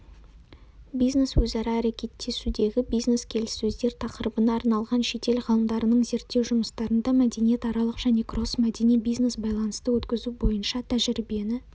бизнес-өзара әрекеттесудегі бизнес-келіссөздер тақырыбына арналған шетел ғалымдарының зерттеу жұмыстарында мәдениетаралық және кроссмәдени бизнес-байланысты өткізу бойынша тәжірибені